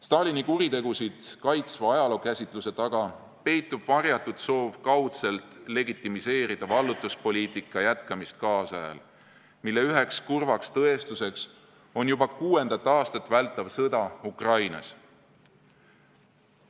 Stalini kuritegusid kaitsva ajalookäsituse taga peitub varjatud soov kaudselt legitimiseerida vallutuspoliitika jätkamist kaasajal, mille üheks kurvaks tõestuseks on juba kuuendat aastat vältav sõda Ukrainas.